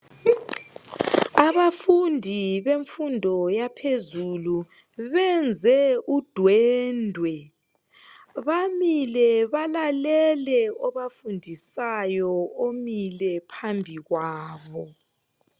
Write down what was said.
Abafundi bemfundo yaphezulu benze udwendwe bamile balalele obafundisayo umile phambi kwabo.